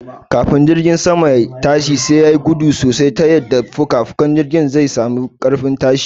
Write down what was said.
Kafin jirgin sama ya'iya tashi sai yayi gudu sosai ta yadda fukafukan jirgin zai sami ƙarfin tashi